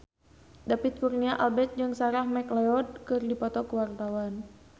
David Kurnia Albert jeung Sarah McLeod keur dipoto ku wartawan